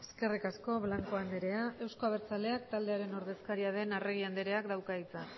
eskerrik asko blanco andrea euzko abertzaleak taldearen ordezkaria den arregi andreak dauka hitza